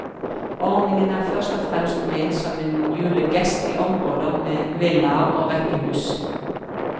Ordningen er først og fremst ment som en julegest i områder med villaer og rekkehus.